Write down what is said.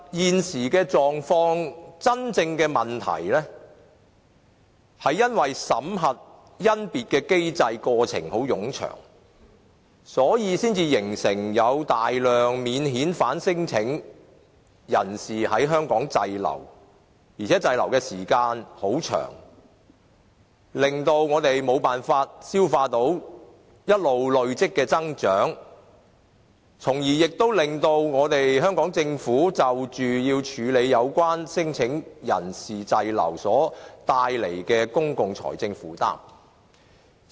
現時的狀況、真正的問題是因為審核甄別的機制、過程很冗長，所以才形成大量免遣返聲請人士在香港滯留，而且滯留的時間很長，令到我們無法消化一直累積的增長，亦令到香港政府要處理有關聲請人士滯留所帶來的公共財政負擔。